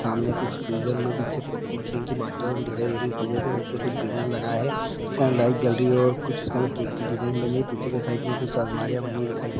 सामने कुछ फ्रीजर में नीचे ड्रिंक की बोतल दिखाई दे रही है फ्रीजर के नीचे कुछ बैनर लगा है जिसमें लाइट जल रही है और कुछ उसके अंदर केक की डिज़ाइन पीछे की साइड में कुछ अलमारियां बनी दिखाई दे रही--